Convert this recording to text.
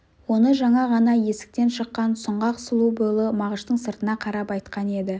оны жаңа ғана есіктен шыққан сұңғақ сұлу бойлы мағыштың сыртына қарап айтқан еді